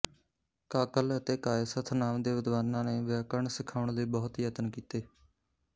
ਕਾਕਲ ਅਤੇ ਕਾਯਸਥ ਨਾਮ ਦੇ ਵਿਦਵਾਨਾਂ ਨੇ ਵਿਆਕਰਣ ਸਿਖਾਉਣ ਲਈ ਬਹੁਤ ਯਤਨ ਕੀਤੇ